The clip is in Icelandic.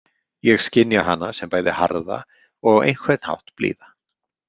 Ég skynja hana sem bæði harða og á einhvern hátt blíða.